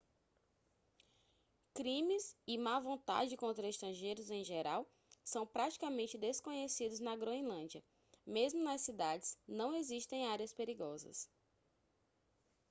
crimes e má vontade contra estrangeiros em geral são praticamente desconhecidos na groenlândia mesmo nas cidades não existem áreas perigosas